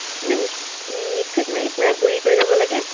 মানে উম mixer ত মাৰি পূৰা গুৰা কৰি লব লাগে